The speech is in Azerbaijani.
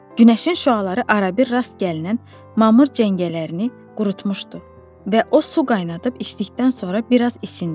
Günəşin şüaları arabir rast gəlinən mamır cəngəllərini qurutmuşdu və o su qaynadıb içdikdən sonra biraz isindi.